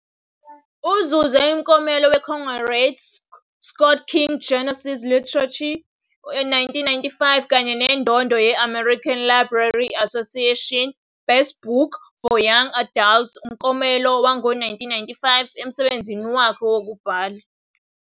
Uzuze umklomelo weCoretta Scott King Genesis weLiterature, 1995, kanye nendondo ye-American Library Association Best Book for Young Adults umklomelo, 1995, emsebenzini wakhe wokubhala.